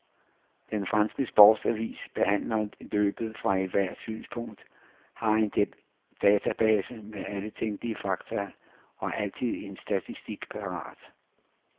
Den franske sportsavis behandler løbet fra ethvert synspunkt, har en database med alle tænkelige fakta og altid en statistik parat.